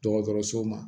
Dɔgɔtɔrɔso ma